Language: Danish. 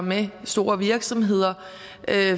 med store virksomheder